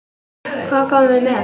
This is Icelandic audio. Hvað komum við með?